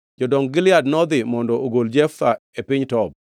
jodong Gilead nodhi mondo ogol Jeftha e piny Tob.